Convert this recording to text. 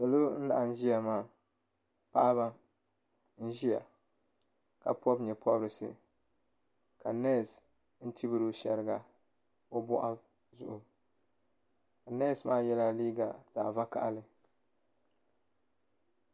Salo laɣim ziya maa Paɣaba n ziya ka pɔbi yee pɔbirisi ka nɛsi chibiri o shɛriga o bɔɣu zuɣu nɛsi maa yela liiga zaɣi vakahali.